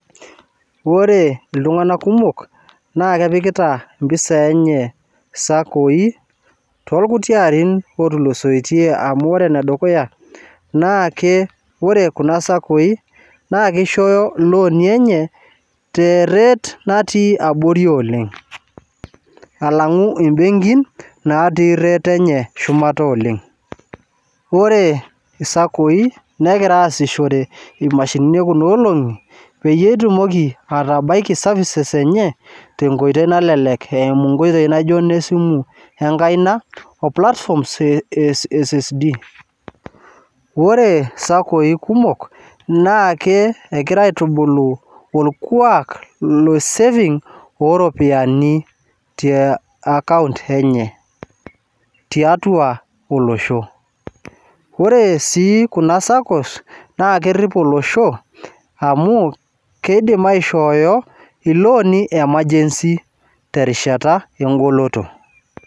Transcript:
Ore iltung'anak kumok, na kepikita impisai enye sakoi, torkuti arin otulusotie amu ore enedukuya, naake ore kuna sakoi na kisho iloni enye te rate natii abori oleng. Alang'u ibenkin natii rate enye shumata oleng. Ore isakoi, nekira aasishore imashinini ekunoolong'i, peyie etumoki atabaiki services enye, tenkoitoi nalelek eimu nkoitoi naijo nesimu enkaina, o platforms e SSD. Ore sakoi kumok, naake ekegira aitubulu orkuak le saving oropiyiani te akaunt enye tiatua olosho. Ore si kun sakos, na kerrip olosho, amu kidim aishooyo iloni e emergency terishata egoloto.